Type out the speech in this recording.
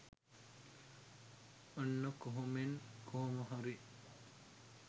ඔන්න කොහොමෙන් කොහොම හරි